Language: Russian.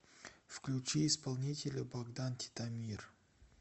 включи исполнителя богдан титомир